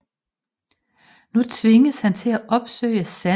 Nu tvinges han til at opsøge sandheden om sin eventyrlige skæbne